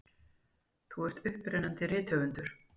Þú ert upprennandi rithöfundur.